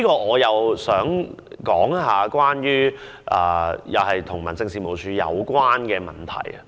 我亦想談談與民政事務處有關的問題。